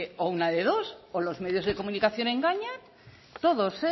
una de dos o los medios de comunicación engañan todos